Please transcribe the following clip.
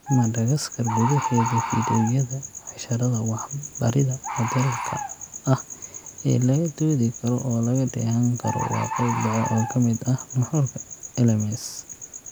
Madagaskar gudaheeda, fiidiyowyada casharrada wax-barida moodeelka ah ee laga doodi karo oo laga dheehan karo waa qayb dhexe oo ka mid ah nuxurka LMS.